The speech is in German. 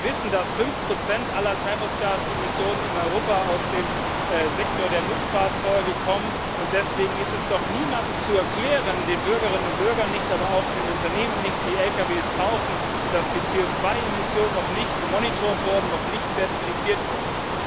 Wir wissen, dass 5 aller Treibhausgasemissionen in Europa aus dem Sektor der Nutzfahrzeuge kommen, und deswegen ist es doch niemandem zu erklären den Bürgerinnen und Bürgern nicht, aber auch den Unternehmen nicht, die Lkw kaufen dass die CO2 Emissionen noch nicht überwacht wurden, noch nicht zertifiziert wurden.